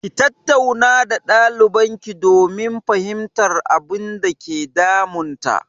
Ki tattauna da ɗalibarki domin fahimtar abinda ke damun ta!